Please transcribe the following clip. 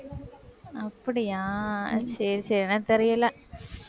அப்படியா? சரி, சரி எனக்கு தெரியலே